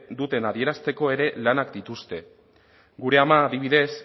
duten adierazteko ere lanak dituzte gure ama adibidez